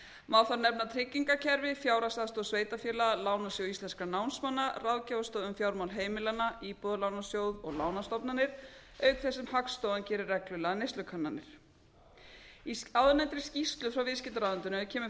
má þar nefna tryggingakerfi fjárhagsaðstoð sveitarfélaga lánasjóð íslenskum námsmanna ráðgjafarstöð um fjármál heimilanna íbúðalánasjóð og lánastofnanir auk þess sem hagstofan gerir reglulegar neyslukannanir í áðurnefndri skýrslu frá viðskiptaráðuneytinu kemur